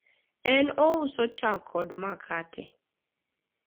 en ouso chak kod makate